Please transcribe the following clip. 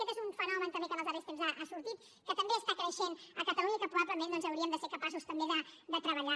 aquest és un fenomen també que en els darrers temps ha sortit que també està creixent a catalunya i que probablement doncs hauríem de ser capaços també de treballar